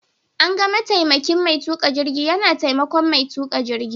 An ga mataimakin Mai tuƙa jirgin yana taimakon mai tuƙa jirgin.